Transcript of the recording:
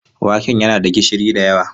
Waken yana da gishiri da yawa.